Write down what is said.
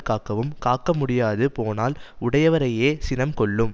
காக்கவும் காக்க முடியாது போனால் உடையவரையே சினம் கொல்லும்